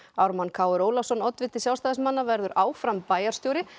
Ármann Kr Ólafsson oddviti Sjálfstæðismanna verður áfram bæjarstjóri